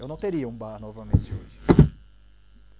Eu não teria um bar novamente hoje.